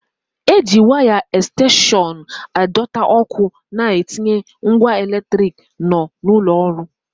E ji waya ẹkstenshọn a dọta ọ́kụ́ a na-etinye ngwa eletrik nọ n'ụlọ ọrụ.